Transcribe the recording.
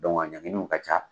a ɲanginiw ka ca.